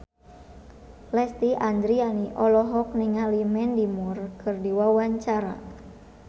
Lesti Andryani olohok ningali Mandy Moore keur diwawancara